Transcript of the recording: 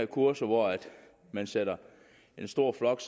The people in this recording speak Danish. kurser hvor man sætter en stor flok